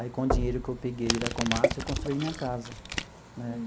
Aí, com o dinheiro que eu peguei da Komatsu, eu construí minha casa né.